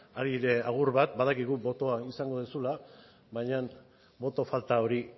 hari ere agur bat badakigu botoa izango duzula baina boto falta hori